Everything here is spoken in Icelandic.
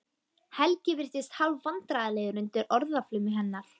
Helgi virðist hálfvandræðalegur undir orðaflaumi hennar.